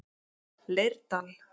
Leirdal